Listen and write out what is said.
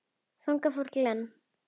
Þangað fór Glenn.